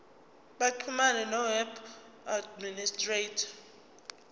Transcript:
baxhumane noweb administrator